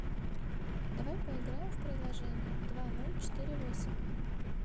давай поиграем в приложение два ноль четыре восемь